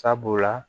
Sabula